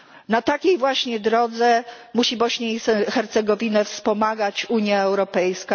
Na takiej właśnie drodze musi Bośnię i Hercegowinę wspomagać Unia Europejska.